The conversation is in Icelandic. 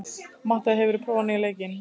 Mattea, hefur þú prófað nýja leikinn?